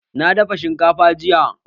Na dafa shinkafa jiya